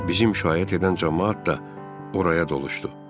Bizim şahid edən camaat da oraya doluşdu.